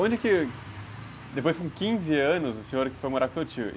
Onde que, depois de quinze anos, o senhor foi morar com seu tio?